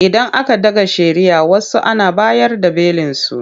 Idan aka ɗaga shari'ah wasu Ana bayar da belinsu.